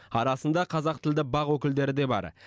арасында қазақ тілді бақ өкілдері де бар